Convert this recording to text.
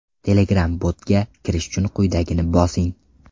Telegram-bot ’ga kirish uchun quyidagini bosing!